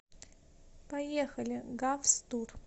поехали гавс тур